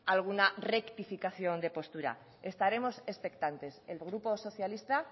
alguna rectificación de postura estaremos expectantes el grupo socialista